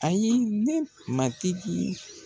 Ayi ne matiki